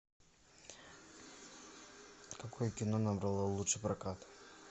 какое кино набрало лучший прокат